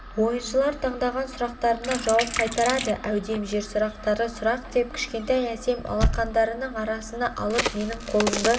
ойыншылар таңдаған сұрақтарына жауап қайтарады әудем жерсұрақтары сұрақ деп кішкентай әсем алақандарының арасына алып менің қолымды